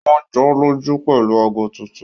Wọ́n jọ́lọ́jú pẹ̀lú ago tuntun